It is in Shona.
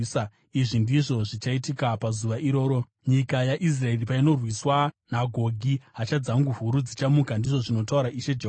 Izvi ndizvo zvichaitika pazuva iroro: Nyika yaIsraeri painorwiswa naGogi, hasha dzangu huru dzichamuka, ndizvo zvinotaura Ishe Jehovha.